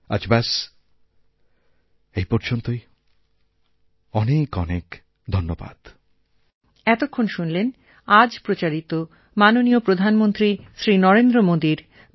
আজ ব্যস্ এই পর্যন্তই অনেক অনেক ধন্যবাদ